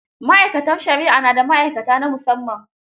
Ma'aikatar shari'a na da ma'aikata na musamman.